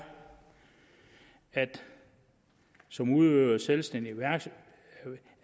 at som udøver af selvstændig